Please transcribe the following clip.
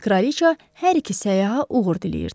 Kraliça hər iki səyyaha uğur diləyirdi.